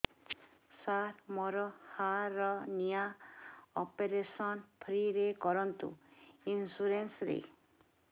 ସାର ମୋର hernia operation free ରେ କରନ୍ତୁ ଇନ୍ସୁରେନ୍ସ ରେ